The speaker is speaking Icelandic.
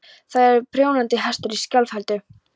Þar í voru prjónandi hestar í sjálfheldu.